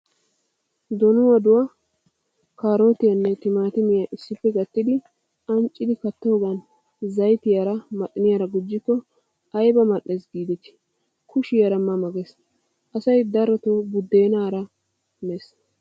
Donuwaaduwaa, kaarotiyaanne timaatimiyaa issippe gattidi anccidi kattoogan zayitiyaara maxiniyaara gujjikko ayibaa mal''es giideti kushiyaara ma ma ges. Asayi daroto buddeenaara mes.